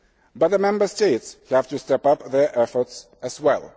But the Member States have to step up their efforts as